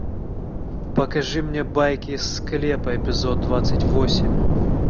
покажи мне байки из склепа эпизод двадцать восемь